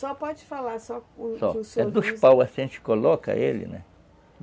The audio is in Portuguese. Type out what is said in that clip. Só pode falar, só... É dos paus, assim, a gente coloca ele, né?